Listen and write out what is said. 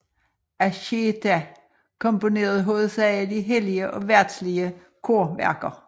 Anchieta komponeret hovedsagelig hellige og verdslige korværker